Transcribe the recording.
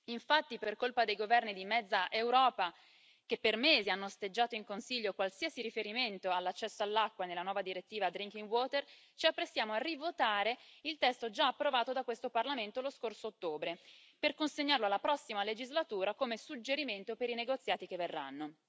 Infatti, per colpa dei governi di mezza Europa, che per mesi hanno osteggiato in Consiglio qualsiasi riferimento all'accesso all'acqua nella nuova direttiva sull'acqua potabile, ci apprestiamo a rivotare il testo già approvato da questo Parlamento lo scorso ottobre, per consegnarlo alla prossima legislatura come suggerimento per i negoziati che verranno.